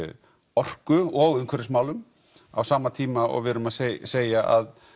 orku og umhverfismálum á sama tíma og við erum að segja segja að